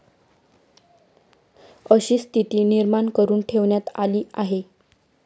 अशी स्थिती निर्माण करून ठेवण्यात आली आहे.